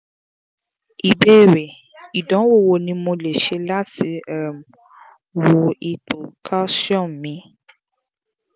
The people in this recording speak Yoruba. ìbéèrè: idanwo wo ni mo le se lati um wo ipo calcium mi